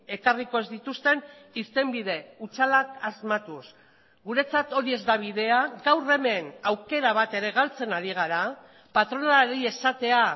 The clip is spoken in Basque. ekarriko ez dituzten irtenbide hutsalak asmatuz guretzat hori ez da bidea gaur hemen aukera bat ere galtzen ari gara patronalari esatea